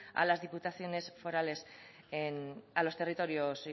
a las diputaciones forales a los territorios